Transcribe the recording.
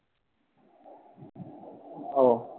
ওহ